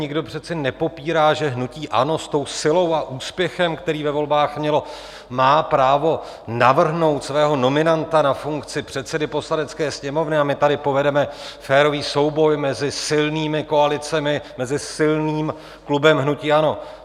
Nikdo přece nepopírá, že hnutí ANO, s tou silou a úspěchem, který ve volbách mělo, má právo navrhnout svého nominanta na funkci předsedy Poslanecké sněmovny, a my tady povedeme férový souboj mezi silnými koalicemi, mezi silným klubem hnutí ANO.